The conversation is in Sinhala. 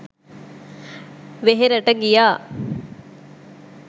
වෙහෙරට ගියා.